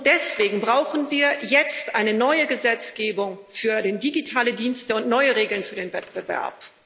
Deswegen brauchen wir jetzt eine neue Gesetzgebung für digitale Dienste und neue Regeln für den Wettbewerb.